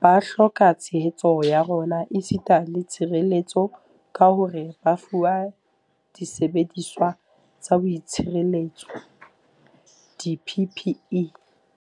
ba hloka tshehetso ya rona esita le tshireletso ka hore ba fuwe disebediswa tsa boitshireletso, di-PPE.